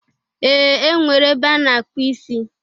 Ee! E nwere ebe a na-akpụ isi.